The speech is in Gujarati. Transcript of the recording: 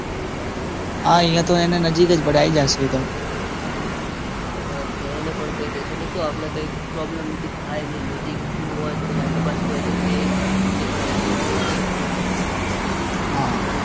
અહિયાં તો એને તો નજીક જ પડે એ તો આઈ જશે એતો. હા એને તો કઈ દઇશું. શું આપણને કઈ પ્રોબ્લેમ બીજી થાય નઇ. નજીકનું હોય તો કઈ આગપાછી હોય તો તે પણ હેલ્પ મળી રે ને. હા